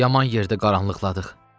Yaman yerdə qaranlıqladıq.